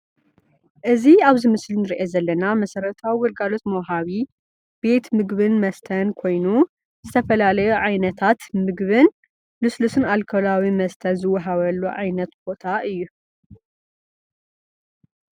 እዚ ኣብዚ ምስሊ እንረእዮ ዘለና መሰረታዊ ግልጋሎት መውሃቢ ቤት ምግብን መስተን ኮይኑ ዝተፈላለዩ ዓይነታት ምግብን ሉስልስን ኣልከላዊን መስተን ዝወሃበሉ ዓይነት ቦታ እዩ።